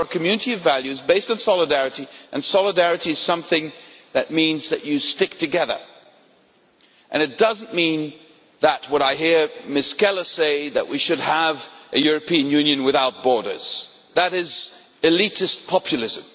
We are a community of values based on solidarity, and solidarity is something that means that you stick together. It does not mean what I hear Ms Keller say, namely that we should have a European Union without borders. That is elitist populism.